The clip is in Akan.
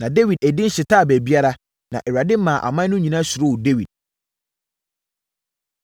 Na Dawid edin hyetaa baabiara, na Awurade maa aman no nyinaa suroo Dawid.